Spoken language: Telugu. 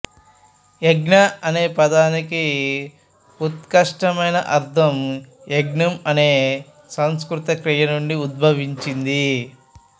యజ్ఞ అనే పదానికి ఉత్కృష్టమైన అర్ధం యజ్ఞం అనే సంస్కృత క్రియ నుండి ఉద్భవించింది